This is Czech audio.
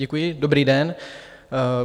Děkuji, dobrý den.